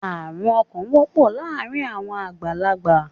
Arún ọkàn wọpọ láàrin àwọn àgbàlágbà